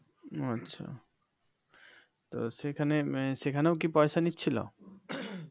ও আচ্ছা তো সেখানে আহ সেখানেও কি পয়সা নিচ্ছিল